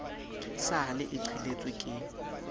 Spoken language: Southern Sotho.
sa le e qheletswe ka